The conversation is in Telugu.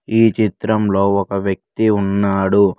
ఈ చిత్రంలో ఒక వ్యక్తి ఉన్నాడు.